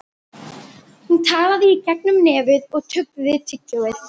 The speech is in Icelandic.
Hún talaði í gegnum nefið og tuggði tyggjó.